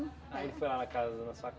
Aí ele foi lá na casa na sua